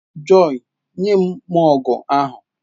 Joy, nye m mọgụ ahụ!